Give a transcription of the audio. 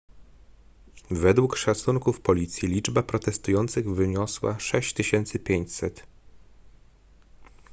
według szacunków policji liczba protestujących wyniosła 6500